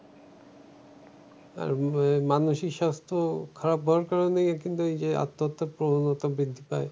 আর আহ মানুষই স্বাস্থ খারাপ বার করা নেই কিন্তু ওই যে আত্মহত্যার প্রবণতা বৃদ্ধি পায়।